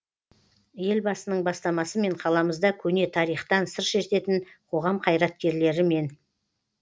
елбасының бастамасымен қаламызда көне тарихтан сыр шертетін қоғам қайраткерлері мен